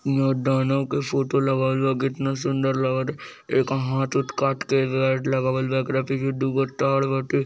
ये दानव का फोटो लगावल बा कितना सुंदर लगता एक हाथ वाथ काट के--